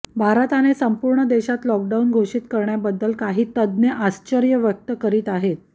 भारताने संपूर्ण देशात लॉकडाऊन घोषित करण्याबद्दल काही तज्ज्ञ आश्चर्य व्यक्त करीत आहेत